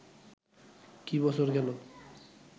কি বছর গেল